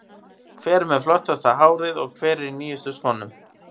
Hver er með flottasta hárið og hver er í nýjustu skónum?